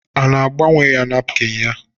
A gbanwere nakpịn ya?